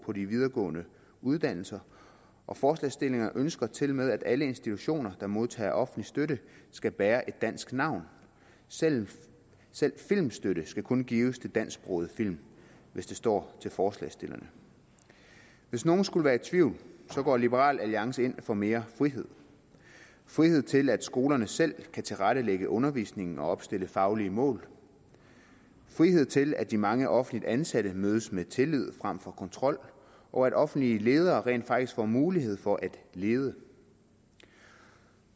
på de videregående uddannelser og forslagsstillerne ønsker tilmed at alle institutioner der modtager offentlig støtte skal bære et dansk navn selv selv filmstøtte skal kun gives til dansksprogede film hvis det står til forslagsstillerne hvis nogen skulle være i tvivl går liberal alliance ind for mere frihed frihed til at skolerne selv kan tilrettelægge undervisningen og opstille faglige mål frihed til at de mange offentligt ansatte mødes med tillid frem for kontrol og at offentlige ledere rent faktisk får mulighed for at lede